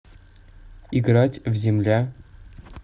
играть в земля